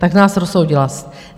Tak nás rozsoudila.